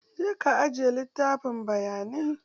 Je ka aje littafin bayanai!